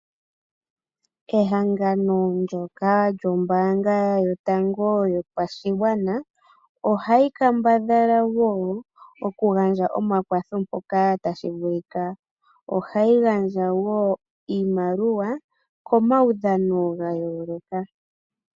Ehangano ndoka lyombaanga yotango yopashigwana ohayi kambadhala oku gandja omakwatho mpoka tashi vulika .Ohayi gandja woo iimaliwa komaudhano ga yooloka.